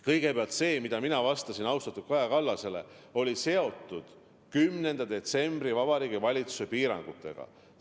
Kõigepealt see, mida ma vastasin austatud Kaja Kallasele, oli seotud 10. detsembril kehtestatud Vabariigi Valitsuse piirangutega.